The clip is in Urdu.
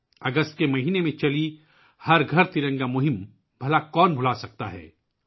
اگست کے مہینے میں شروع کی گئی 'ہر گھر ترنگا' مہم کو کون بھول سکتا ہے